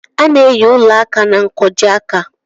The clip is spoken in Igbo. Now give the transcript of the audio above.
A na-eyi ụla áká na nkwojiaka.